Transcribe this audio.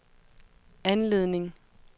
anledning